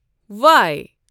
وایی